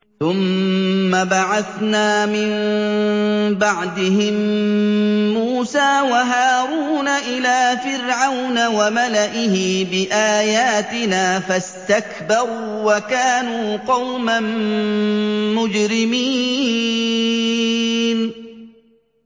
ثُمَّ بَعَثْنَا مِن بَعْدِهِم مُّوسَىٰ وَهَارُونَ إِلَىٰ فِرْعَوْنَ وَمَلَئِهِ بِآيَاتِنَا فَاسْتَكْبَرُوا وَكَانُوا قَوْمًا مُّجْرِمِينَ